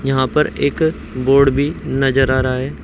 यहां पर एक बोर्ड भी नजर आ रहा है।